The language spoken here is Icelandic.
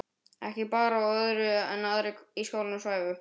Ekki bar á öðru en aðrir í skálanum svæfu.